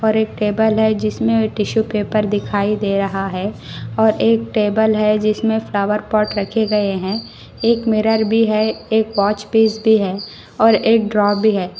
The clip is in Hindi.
और एक टेबल है जिसमें टिशू पेपर दिखाई दे रहा है और एक टेबल है जिसमें फ्लावर पॉट रखे गए हैं एक मिरर भी है एक वॉच पीस भी है और एक ड्रॉ भी है।